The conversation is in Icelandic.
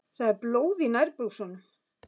Það er blóð í nærbuxunum.